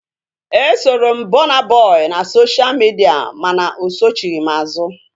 Esoro m Burna Boy na sosha midia mana osochighi m azu